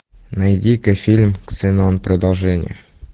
найди ка фильм ксенон продолжение